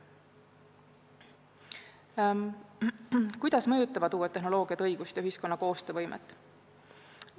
Kuidas mõjutavad uued tehnoloogiad õigust ja ühiskonna koostöövõimet?